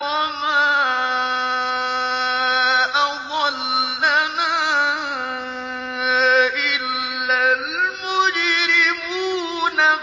وَمَا أَضَلَّنَا إِلَّا الْمُجْرِمُونَ